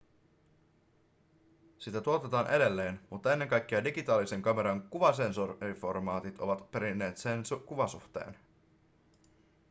sitä tuotetaan edelleen mutta ennen kaikkea digitaalisen kameran kuvasensoriformaatit ovat perineet sen kuvasuhteen